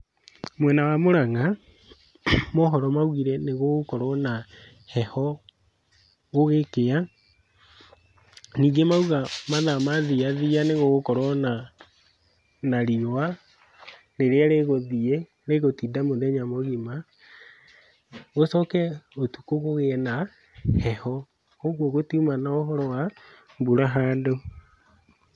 Mwena wa Mũrang'a mohoro maugire nĩgũgũkorwo na heho gũgĩkĩa. Ningĩ mauga mathaa mathiathia nĩgũgũkorwo na na riũa, rĩrĩa rĩgũthiĩ rĩgũtinda mũthenya mũgima, gũcoke ũtukũ kũgĩe na heho, ũguo gũtiũma na ũhoro wa mbura handũ.